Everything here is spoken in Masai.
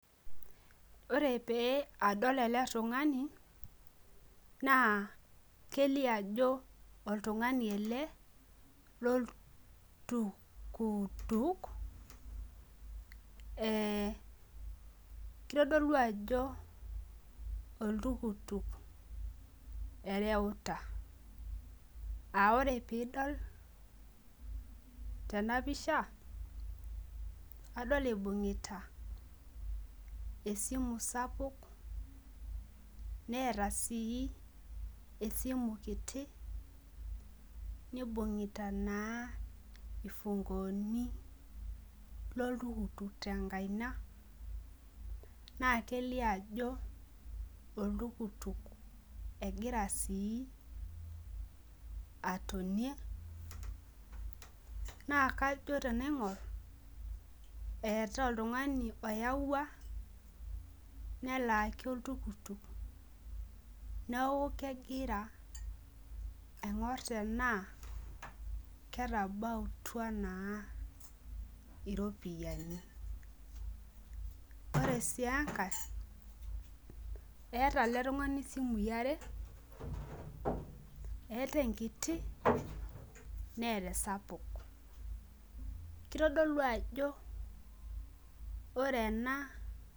Ore oe adol eletungani na kelio ajo oltungani ele loltukutuk kitodolu ajo oltukutuk oreuta aa ore pidol tenapisha adolta ibungita esimu kiti tenkaina oltukutuk egira sii atonie naa kajo tenaingur ewta oltungani oinyangua nelaaki oltukutuk neaku kegira aingur tanaa ketabautua iropiyiani ore ai enkae eeta eletungani simui are eeta enkiti neeta esapuk kitadolu ajo ore ena.